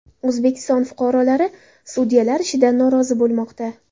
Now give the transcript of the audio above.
O‘zbekiston fuqarolari sudyalar ishidan norozi bo‘lmoqda .